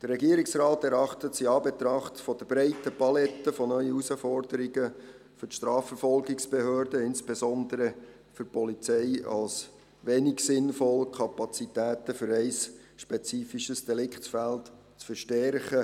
Der Regierungsrat erachtet es in Anbetracht der breiten Palette von neuen Herausforderungen für die Strafverfolgungsbehörden, insbesondere für die Polizei, als wenig sinnvoll, Kapazitäten für ein spezifisches Deliktsfeld zu verstärken.